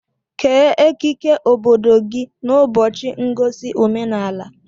Kee ekike obodo gị n'ụbọchị ngosi omenaala